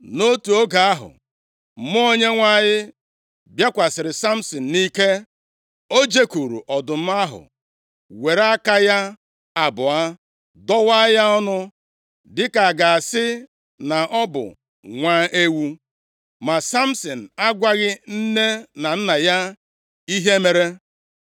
Nʼotu oge ahụ, Mmụọ Onyenwe anyị bịakwasịrị Samsin nʼike. O jekwuuru ọdụm ahụ, were aka ya abụọ dọwaa ya ọnụ, dịka a ga-asị na ọ bụ nwa ewu. Ma Samsin agwaghị nne na nna ya ihe mere.